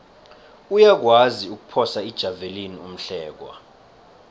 uyakwazi ukuphosa ijavelina umhlekwa